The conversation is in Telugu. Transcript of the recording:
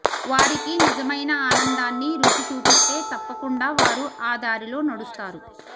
వారికి నిజమైన ఆనందాన్ని రుచి చూపిస్తే తప్పకుండా వారు ఆ దారిలో నడుస్తారు